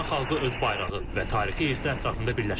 İran xalqı öz bayrağı və tarixi irsi ətrafında birləşməli.